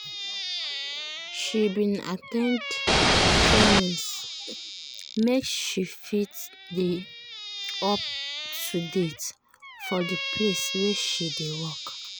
she bin at ten d trainings make she fit dey up to date for the place wey she dey work.